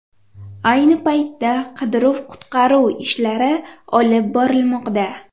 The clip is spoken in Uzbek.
Ayni paytda qidiruv-qutqaruv ishlari olib borilmoqda.